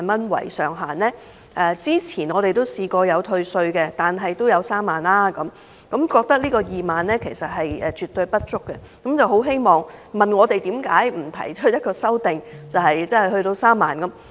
他們說政府以前都曾退稅，上限也有3萬元，現時2萬元絕對不足，問我們為何不提出修正案，將上限增至3萬元。